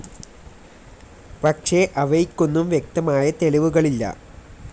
പക്ഷെ അവയ്ക്കൊന്നും വ്യക്തമായ തെളിവുകളില്ല.